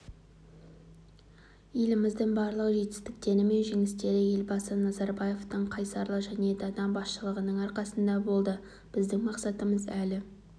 еліміздің барлық жетістіктері мен жеңістері елбасы назарбаевтың қайсарлы және дана басшылығының арқасында болды бізідң мақсатымыз елі